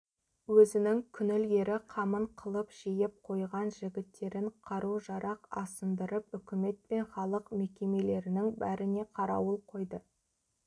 өзінің күнілгері қамын қылып жиып қойған жігіттерін қару-жарақ асындырып үкімет пен халық мекемелерінің бәріне қарауыл қойды